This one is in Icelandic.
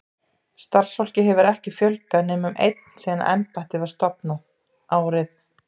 Starfsfólki hefur ekki fjölgað nema um einn síðan embættið var stofnað, árið